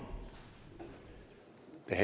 jeg